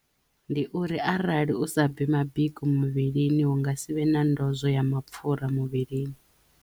Ndi uri arali u sa bvi mabiko muvhilini hunga sivhe na ndozwo ya mapfhura muvhilini.